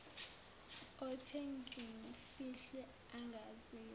othe ngimfihle angaziwa